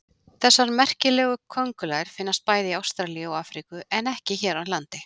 Þessar merkilegu köngulær finnast bæði í Ástralíu og Afríku en ekki hér á landi.